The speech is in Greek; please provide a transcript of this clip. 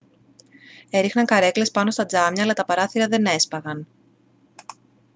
έριχναν καρέκλες πάνω στα τζάμια αλλά τα παράθυρα δεν έσπαγαν